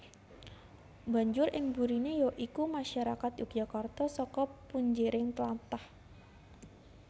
Banjur ing burine ya iku masarakat Yogyakarta saka punjering tlatah